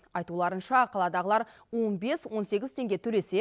айтуларынша қаладағылар он бес он сегіз теңге төлесе